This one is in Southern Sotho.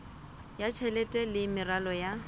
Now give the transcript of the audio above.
ya tjhelete le meralo ya